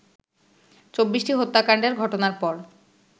২৪টি হত্যাকাণ্ডের ঘটনার পর